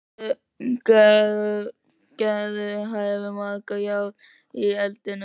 Gerður hefur mörg járn í eldinum.